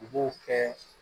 U b'o kɛ